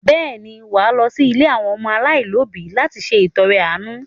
Bẹ́ẹ̀ ni, wà á lọ sí ilé àwọn ọmọ aláìní òbí láti ṣe ìtọrẹ-àánú.